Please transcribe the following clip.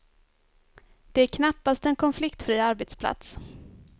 Det är knappast en konfliktfri arbetsplats.